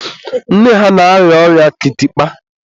nne ha na-arịa ọrịa kịtịkpa.